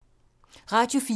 Radio 4